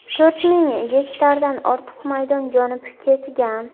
To‘rt ming gektardan ortiq maydon yonib ketgan.